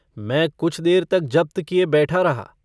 मैं कुछ देर तक जब्त किए बैठा रहा।